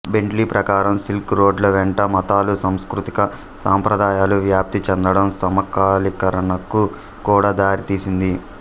Bentley ప్రకారం silk రోడ్ల వెంట మతాలు సాంస్కృతిక సంప్రదాయాలు వ్యాప్తి చెందడం సమకాలీకరణకు కూడా దారితీసింది